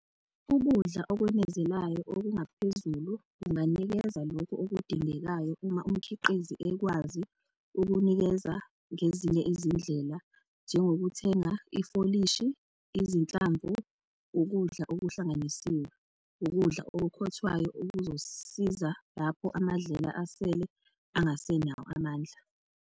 Ukudla okwenezelayo, okungaphezulu, kunganikeza lokhu okudingekayo uma umkhiqizi ekwazi ukunikeza ngezinye izindlela njengokuthenga ifolishi, izinhlamvu, ukudla okuhlanganisiwe, ukudla okukhothwayo okuzosiza lapho amadlela asele angasenawo amandla.